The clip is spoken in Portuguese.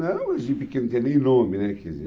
Não, de pequeno tem nem nome, né, quer dizer